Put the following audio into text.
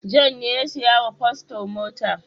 John ne ya saya wa paston mota.